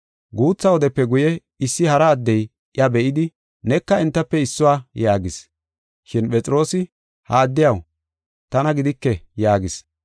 Guutha wodepe guye issi hara addey iya be7idi, “Neka entafe issuwa” yaagis. Shin Phexroosi, “Ha addiyaw tana gidike” yaagis.